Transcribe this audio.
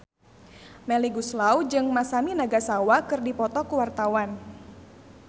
Melly Goeslaw jeung Masami Nagasawa keur dipoto ku wartawan